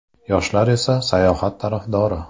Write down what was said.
Yoshlar esa, sayohat tarafdori.